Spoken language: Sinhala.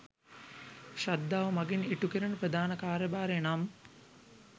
ශ්‍රද්ධාව මගින් ඉටුකෙරෙන ප්‍රධාන කාර්යභාරය නම්